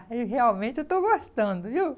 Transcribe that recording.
E realmente eu estou gostando, viu?